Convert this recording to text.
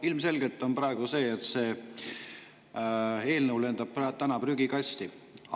Ilmselgelt läheb nii, et see eelnõu lendab täna prügikasti.